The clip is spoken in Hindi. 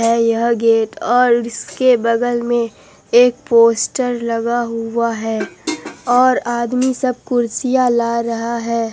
यह गेट और इसके बगल में एक पोस्टर लगा हुआ है और आदमी सब कुर्सियां ला रहा हैं।